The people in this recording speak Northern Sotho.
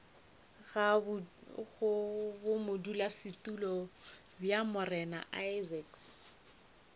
ga bodulasetulo bja morena isaacs